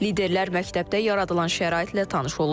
Liderlər məktəbdə yaradılan şəraitlə tanış olublar.